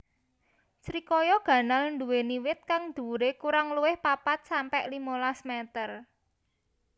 Srikaya ganal nduwéni wit kang dhuwuré kurang luwih papat sampe limolas métér